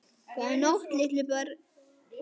Góða nótt litlu börn.